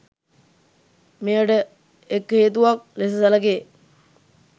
මෙයට එක් හේතුවක් ලෙස සැලකේ